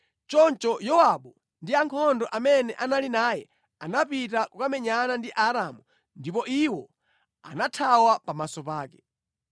Choncho Yowabu ndi ankhondo amene anali naye anapita kukamenyana ndi Aaramu, ndipo iwo anathawa pamaso pake.